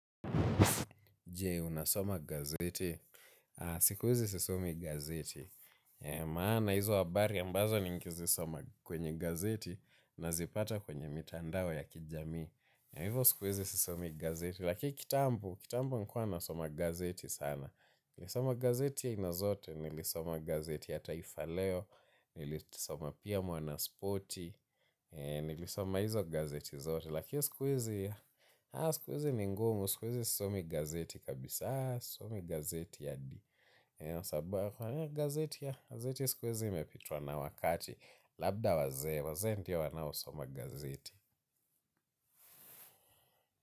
Je unasoma gazeti. Siku hizi sisomi gazeti. Maana hizo habari ambazo ningezisoma kwenye gazeti nazipata kwenye mitandao ya kijamii. Hivo siku hizi sisomi gazeti. Lakiki kitambo, kitambo nilikuwa nasoma gazeti sana. Nilisoma gazeti ya aina zote nilisoma gazeti ya taifa leo. Nilisoma pia mwanasporti. Nilisoma hizo gazeti zote. Lakini siku hizi ya siku hizi ni ngumu siku hizi sisomi gazeti kabisa sisomi gazeti hadi ya sababu gazeti ya gazeti siku hizi imepitwa na wakati labda wazee wazee ndio wanaosoma gazeti.